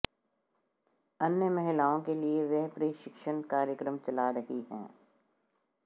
अन्य महिलाओं के लिए वह प्रशिक्षण कार्यक्रम चला रही हैं